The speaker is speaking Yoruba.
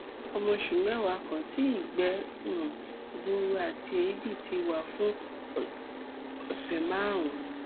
ọmọ oṣù mẹwàá kan tí ìgbẹ um gbuuru àti èébì ti wà fún ọsẹ márùnún